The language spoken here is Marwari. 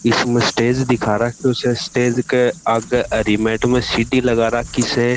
इसमें स्टेज दिखा राख्यो स स्टेज के आगे हरी मेट में सीढ़ी लगा राखी स।